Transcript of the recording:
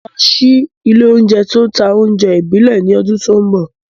Mo máa ṣí ilé-oúnjẹ tó ń ta oúnjẹ ìbílẹ̀ ní ọdún tí ń bọ̀.